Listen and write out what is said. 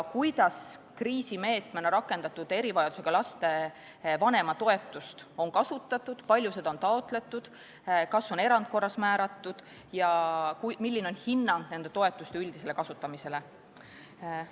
Kuidas on kriisimeetmena rakendatud erivajadusega laste vanematoetust kasutatud, kui palju seda on taotletud, kas on erandkorras määratud ja milline on hinnang nende toetuste üldisele kasutamisele?